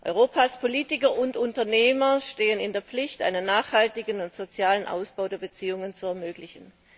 Europas Politiker und Unternehmer stehen in der Pflicht, einen nachhaltigen und sozialen Ausbau der Beziehungen zu ermöglichen.